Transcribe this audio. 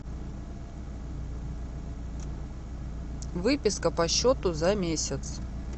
выписка по счету за месяц